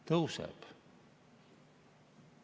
Tõuseb.